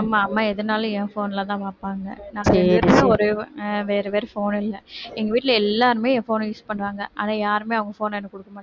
ஆமா அம்மா எதுன்னாலும் என் phone ல தான் பாப்பாங்க வேற வேற phone இல்ல எங்க வீட்டில எல்லாருமே என் phone அ use பண்ணுவாங்க ஆனா யாருமே அவங்க phone அ எனக்கு கொடுக்கமாட்டாங்க